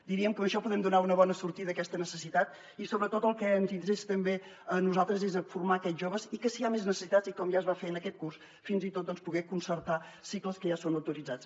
diríem que amb això podem donar una bona sortida a aquesta necessitat i sobretot el que ens interessa també a nosaltres és formar aquests joves i que si hi ha més necessitats com ja es va fer en aquest curs fins i tot poder concertar cicles que ja són autoritzats